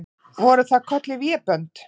Voru það kölluð vébönd.